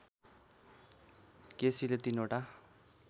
केसीले ३ वटा